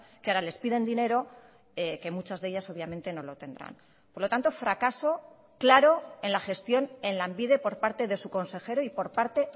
que ahora les piden dinero que muchas de ellas obviamente no lo tendrán por lo tanto fracaso claro en la gestión en lanbide por parte de su consejero y por parte